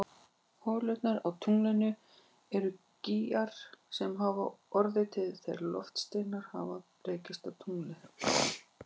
Holurnar á tunglinu eru gígar sem hafa orðið til þegar loftsteinar hafa rekist á tunglið.